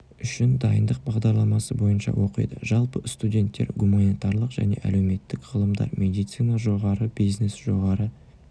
үшін дайындық бағдарламасы бойынша оқиды жалпы студенттер гуманитарлық және әлеуметтік ғылымдар медицина жоғары бизнес жоғары